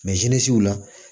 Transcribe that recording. la